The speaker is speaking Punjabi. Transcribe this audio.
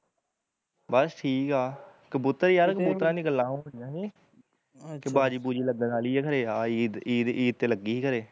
ਬਸ ਠੀਕ ਆ, ਕਬੂਤਰ ਯਾਰ ਕਬੂਤਰਾਂ ਦੀਆ ਗੱਲਾ ਹੋਣ ਡੀਆ ਸੀ ਅਖੇ ਬਾਜੀ ਬੁਜਈ ਲੱਗਣ ਆਲੀ ਐ ਖਰੇ ਆਹ ਈਦ ਈਦ ਤੇ ਲੱਗੀ ਹੀ ਹਰੇ